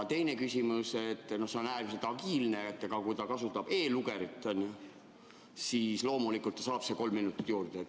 Teine küsimus, see on äärmiselt agiilne: aga kui ta kasutab e‑lugerit, siis loomulikult ta saab kolm minutit juurde.